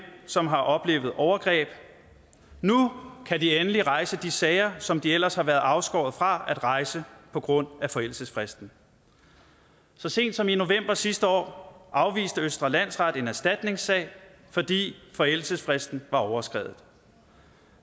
som har oplevet overgreb nu kan de endelig rejse de sager som de ellers har været afskåret fra at rejse på grund af forældelsesfristen så sent som i november sidste år afviste østre landsret en erstatningssag fordi forældelsesfristen var overskredet